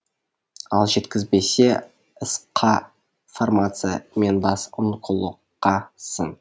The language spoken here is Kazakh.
ал жеткізбесе сқ фармация мен бас онкологқа сын